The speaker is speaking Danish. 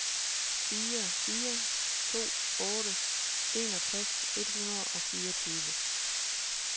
fire fire to otte enogtres et hundrede og fireogtyve